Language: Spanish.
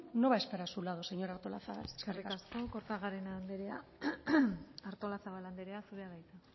no va a estar a su lado señora artolazabal eskerrik asko eskerrik asko kortajarena anderea artolazabal anderea zurea da hitza